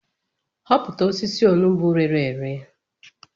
Hopụta osisi onugbu rere ere